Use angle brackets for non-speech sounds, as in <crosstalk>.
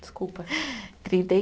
Desculpa. <laughs> Trinta e